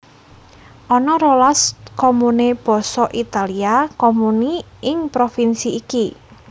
Ana rolas comune basa Italia comuni ing provinsi iki